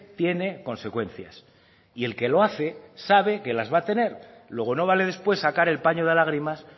tiene consecuencias y el que lo hace sabe que las va a tener luego no vale después sacar el paño de lágrimas